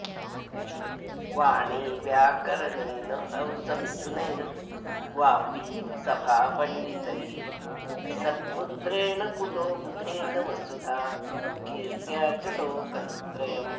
वाणी व्याकरणेन हंसमिथुनैर्वापी सभा पण्दितैः सत्पुत्रेण कुलो बुधेन वसुधा कीत्र्या च लोकत्रयम्